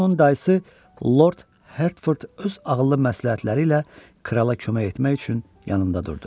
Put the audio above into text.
Burada onun dayısı Lord Hertford öz ağıllı məsləhətləri ilə krala kömək etmək üçün yanında durdu.